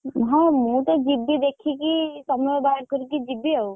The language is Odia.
ହଁ ମୁଁ ତ ଯିବି ଦେଖିକି ସମୟ ବାହାର କରିକି ଯିବି ଆଉ।